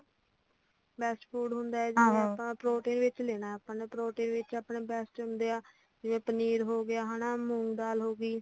best food ਹੁੰਦਾ ਜਿਵੇ ਆਪਾ protein ਵਿੱਚ ਲੈਣਾਂ ਆਪਾ ਨੇ protein ਵਿਚ best ਹੁੰਦੇ ਆ ਜਿਵੇ ਪਨੀਰ ਹੋ ਗਿਆ ਮੂੰਗ ਦਾਲ ਹੋਗਈ